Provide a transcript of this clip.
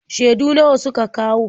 Shaidu nawa suka kawo?